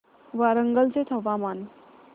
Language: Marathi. वरंगल चे हवामान